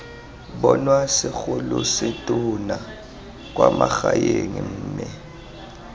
bonwa segolosetonna kwa magaeng mme